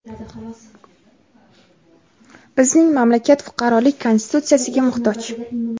Bizning mamlakat fuqarolik Konstitutsiyasiga muhtoj.